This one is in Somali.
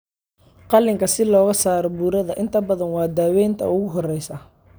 Qaliinka si looga saaro burada inta badan waa daaweynta ugu horeysa.